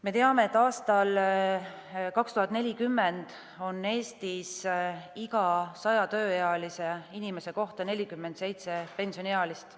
Me teame, et aastal 2040 on Eestis iga 100 tööealise inimese kohta 47 pensioniealist.